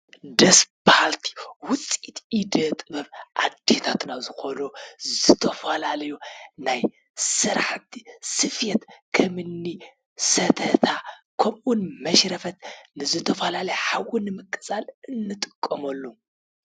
ደስ በሃሊቲ ውፅኢት ኢደ-ጥበብ ኣዴታት ዝኾኑ ዝተፈላለዩ ናይ ስራሕቲ ስፌት ከምኒ ሰተታ ከምኡ ውን መሽረፈት ንዝተፈላለዩ ሓዊ ንምቅፃል እንጥቀመሉ።